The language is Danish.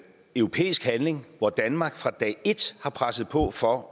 europæisk handling hvor danmark fra dag et har presset på for